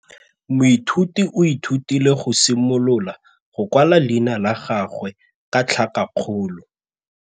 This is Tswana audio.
Moithuti o ithutile go simolola go kwala leina la gagwe ka tlhakakgolo.